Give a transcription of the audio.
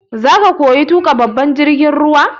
Zaka koyi tuƙa babban jirgin ruwa?